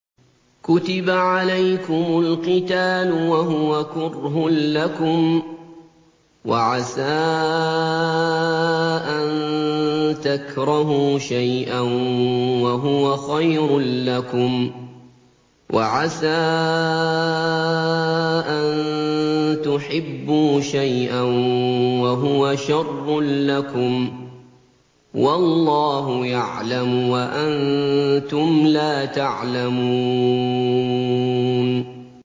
كُتِبَ عَلَيْكُمُ الْقِتَالُ وَهُوَ كُرْهٌ لَّكُمْ ۖ وَعَسَىٰ أَن تَكْرَهُوا شَيْئًا وَهُوَ خَيْرٌ لَّكُمْ ۖ وَعَسَىٰ أَن تُحِبُّوا شَيْئًا وَهُوَ شَرٌّ لَّكُمْ ۗ وَاللَّهُ يَعْلَمُ وَأَنتُمْ لَا تَعْلَمُونَ